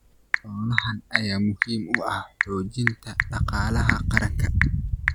Xoolahan ayaa muhiim u ah xoojinta dhaqaalaha qaranka.